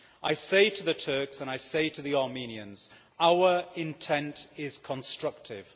I say to the Turks and I say to the Armenians Our intent is constructive.